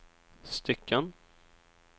stycken